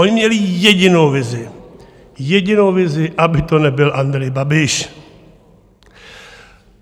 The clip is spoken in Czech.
Oni měli jedinou vizi, jedinou vizi, aby to nebyl Andrej Babiš.